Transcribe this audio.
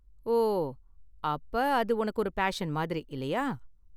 ஓ, அப்ப அது உனக்கு ஒரு பேஷன் மாதிரி, இல்லையா?